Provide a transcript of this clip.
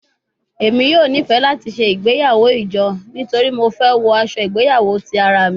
Emi yoo nifẹ lati ṣe igbeyawo ijo nitori Mo fẹ wọ aṣọ igbeyawo ti ara mi